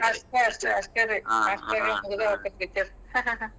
ಅಷ್ಟ್ ಅಷ್ಟ್ ಅಷ್ಟ್ ರೀ . ಅಷ್ಟರಾಗ ಮುಗದ ಹೊಕ್ಕೇತಿ picture .